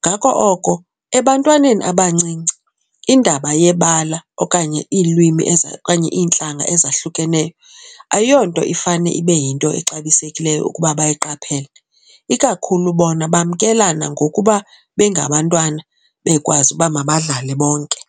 Ngako oko ebantwaneni abancinci, indaba yebala okanye iilwimi okanye iintlanga, ezahlukeneyo ayonto ifane ibe yinto exabisekileyo ukuba bayiqaphele. Ikakhulu bona bamkelana ngokuba bengabantwana bekwazi uba mabadlale bonke.